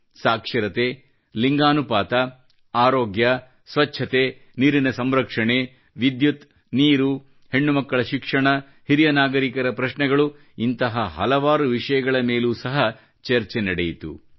ಸಾಕ್ಷರತೆ ಲಿಂಗಾನುಪಾತ ಅರೋಗ್ಯ ಸ್ವಚ್ಚತೆ ನೀರಿನ ಸಂರಕ್ಷಣೆ ವಿದ್ಯುತ್ ನೀರು ಹೆಣ್ಣುಮಕ್ಕಳ ಶಿಕ್ಷಣ ಹಿರಿಯ ನಾಗರೀಕರ ಪ್ರಶ್ನೆಗಳು ಇಂತಹ ಹಲವಾರು ವಿಷಯಗಳ ಮೇಲೂ ಸಹ ಚರ್ಚೆ ನಡೆಯಿತು